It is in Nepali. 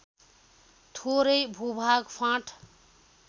थोरै भूभाग फाँट